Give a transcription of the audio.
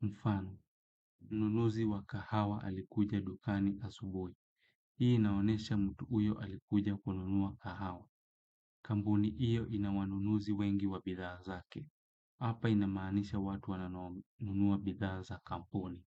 Mfano, mnunuzi wa kahawa alikuja dukani asubuhi. Hii inonyesha mtu huyo alikuja kununua kahawa. Kambuni iyo ina wanunuzi wengi wa bithaa zake. Apa inamaanisha watu wananunua bithaa za kampuni.